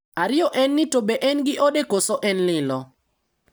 Ariyo en ni to be en gi ode koso en lilo?